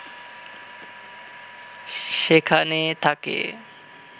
সেখানে থাকে